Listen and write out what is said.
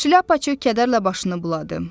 Şlyapaçı kədərlə başını buladı.